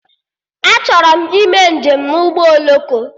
Achọrọ m ime njem na ụgbọ oloko